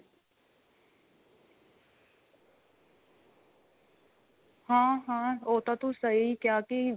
ਹਾਂ ਹਾਂ ਉਹ ਤਾਂ ਤੂੰ ਸਹੀ ਕਿਹਾ ਕੀ